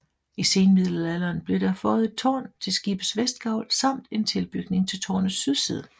I senmiddelalderen blev der føjet et tårn til skibets vestgavl samt en tilbygning til tårnets sydside